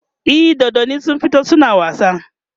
e dodannin sun fito suna wasa